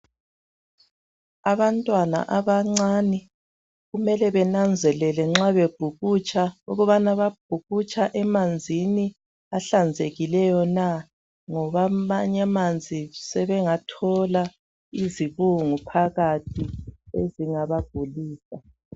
Abantwana abancane kumele bananzelele nxa bebhukutsha ukubana babhukutsha emanzini ahlanzekileyo na, ngoba amanye amanzi sebengathola izibungu phakathi ezingaba gulisa.